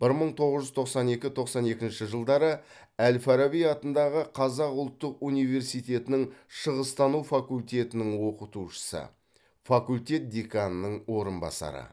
бір мың тоғыз жүз тоқсан екі тоқсан екінші жылдары әл фараби атындағы қазақ ұлттық университетінің шығыстану факультетінің оқытушысы факультет деканының орынбасары